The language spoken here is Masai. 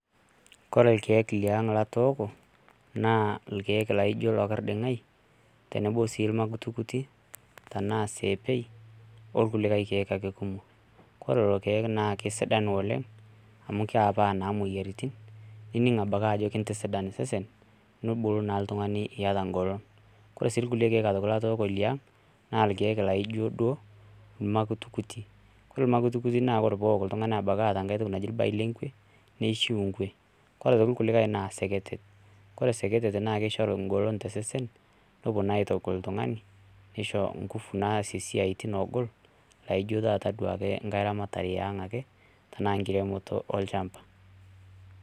Kore irkeek liang' latooko, naa irkeek laijo lorkiding'ai, tenebo si irmakutikuti, tenaa seepei, orkulikae keek ake kumok. Kore lelo keek na kesidan oleng', amu kepaa naa moyiaritin, nining' adake ajo kintisidan osesen, nibulu naa iltung'ani eata golon. Kore si kulie keek aitoki latooko liang',na irkeek laijo duo irmakutikuti. Kore Irmakutikuti na ore pook iltung'ani ebaki eeta enkae toki naiji irbae lengwe, neishu ngwe. Kore tonkulikae na isekete. Kore sekete na kishoru golon tesesen, nopuo na aitogol oltung'ani, nisho ngufu naasie esiaitin ogol, naijo taata duo ake nkae ramatare eang' ake, tanaa nkiremoto olchamba.